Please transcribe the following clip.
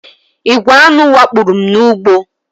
Igwè aṅụ wakporo m n'ugbo